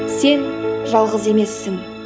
сен жалғыз емессің